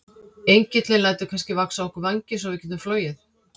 Engillinn lætur kannski vaxa á okkur vængi svo við getum flogið?